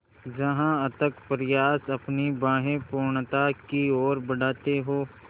जहाँ अथक प्रयास अपनी बाहें पूर्णता की ओर बढातें हो